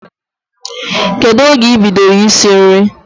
Kedụ oge ị bidoro isi nri?